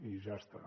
i ja està